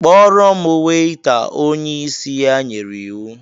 "Kpọrọ m Weita" onye isi ya nyere iwu